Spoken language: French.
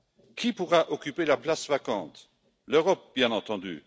Qui pourra occuper la place vacante? L'Europe, bien entendu.